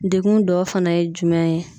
Degun dɔ fana ye jumɛn ye?